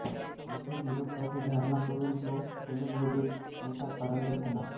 तेथे ग्रुरुत्वाची धारणा करून तो धनुर्विद्येत मोठा पारंगत झाला